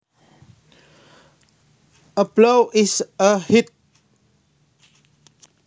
A blow is a hit